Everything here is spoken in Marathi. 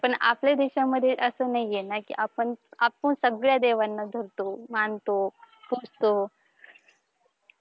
पण आपल्या देशामध्ये असं नाहीये ना की आपण पण सगळ्या देवांना धरतो, मानतो, पुजतो